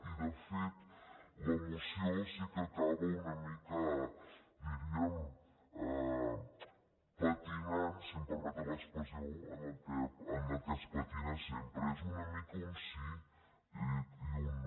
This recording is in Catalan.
i de fet la moció sí que acaba una mica diríem patinant si em permeten l’expressió en el que es patina sempre és una mica un sí i un no